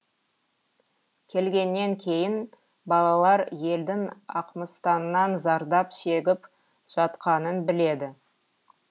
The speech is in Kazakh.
келгеннен кейін балалар елдің ақмыстаннан зардап шегіп жатқанын біледі